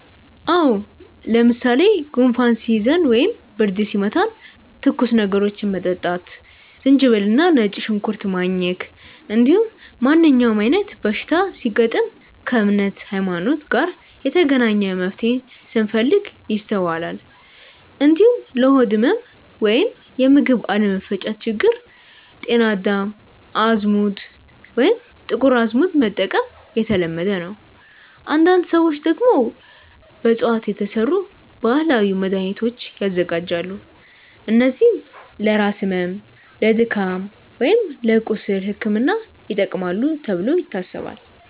አዎ። ለምሳሌ ጉንፋን ሲይዘን ወይም ብርድ ሲመታን ትኩስ ነገሮችን መጠጣት፣ ዝንጅብል እና ነጭ ሽንኩርት ማኘክ፣ እንዲሁም ማንኛውም አይነት በሽታ ሲገጥም ከእምነት (ሀይማኖት) ጋር የተገናኘ መፍትሄን ስንፈልግ ይስተዋላል። እንዲሁም ለሆድ ህመም ወይም የምግብ አለመፈጨት ችግር ጤና አዳም፣ አዝሙድ ወይም ጥቁር አዝሙድ መጠቀም የተለመደ ነው። አንዳንድ ሰዎች ደግሞ በእፅዋት የተሰሩ ባህላዊ መድሃኒቶችን ያዘጋጃሉ፣ እነዚህም ለራስ ህመም፣ ለድካም ወይም ለቁስል ሕክምና ይጠቅማሉ ተብሎ ይታሰባል።